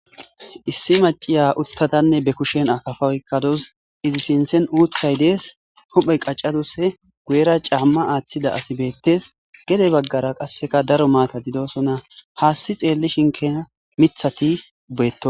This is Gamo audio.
Issi Mac, asiya utadanne ba kushen akafa oyikadaus izi sinthan uthi dee,es huphe qa,cadus izi guyera ca,ama atida asi betees gede bagara qasika daro mathati de, osona hasi xelishin kehi mitati de, osona